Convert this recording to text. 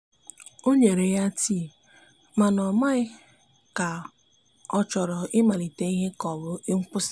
o nyere ya tii mana o maghi ka ochọrọ i malite ihe ka ọbụ nkwụsi.